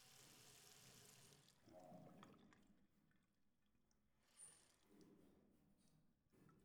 Waa maxay astanaha iyo calaamadaha Osteodysplasiska familiga Anderson nooca?